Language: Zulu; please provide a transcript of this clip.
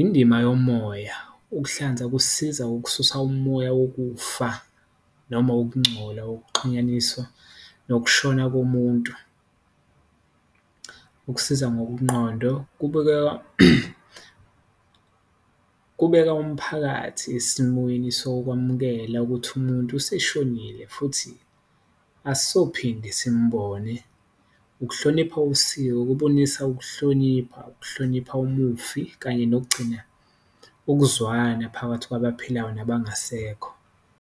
indima yomoya, ukuhlanza kusisiza ngokususa umoya wokufa noma ukungcola okuxhunyaniswa nokushona komuntu, ukusiza ngokwengqondo kubeka umphakathi esimweni sokwamukela ukuthi umuntu useshonile futhi asophinde simbone. Ukuhlonipha usiko, kubonisa ukuhlonipha ukuhlonipha umufi kanye nokugcina ukuzwana phakathi kwabaphilayo nabangasekho.